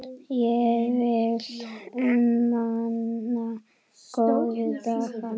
Ég vil muna góðu dagana.